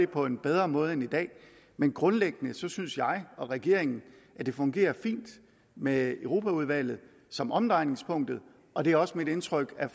på en bedre måde end i dag men grundlæggende synes jeg og regeringen at det fungerer fint med europaudvalget som omdrejningspunktet og det er også mit indtryk at